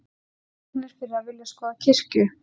Handteknir fyrir að vilja skoða kirkju